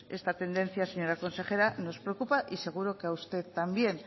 esta tendencia señora consejera nos preocupa y seguro que a usted también